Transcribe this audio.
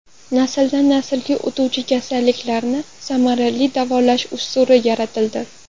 Nasldan naslga o‘tuvchi kasalliklarni samarali davolash usuli yaratildi.